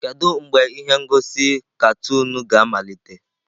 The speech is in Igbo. Kedu mgbe ihe ngosi katuunu ga-amalite?